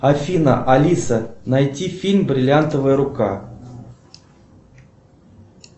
афина алиса найти фильм бриллиантовая рука